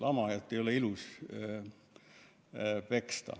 Lamajat ei ole ilus peksta.